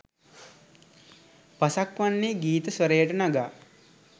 පසක් වන්නේ ගීත ස්වරයට නගා